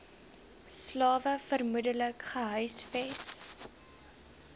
slawe vermoedelik gehuisves